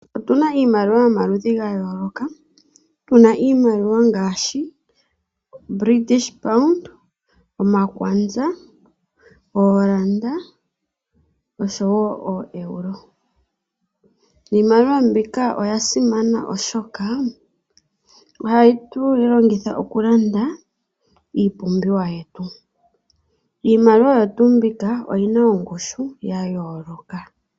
Otu na iimaliwa yomaludhi ga yooloka, tu na iimaliwa ngaashi British pound, omakwanza, ooranda oshowo ooeuro. Iimaliwa mbika oya simana oshoka ohatu yi longitha okulanda iipumbiwa yetu. Iimaliwa oyo tuu mbika oyi na ongushu yayooloka.